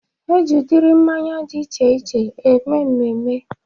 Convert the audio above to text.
Eji udiri mmanya dị iche iche eme mmemme